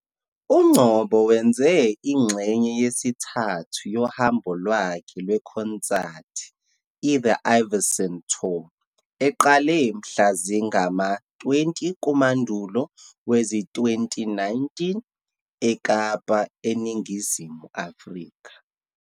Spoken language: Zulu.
UNgcobo wenze ingxenye yesithathu yohambo lwakhe lwekhonsathi, i-The Ivyson Tour, eqale mhla zingama-20 kuMandulo wezi-2019, eKapa, eNingizimu Afrika.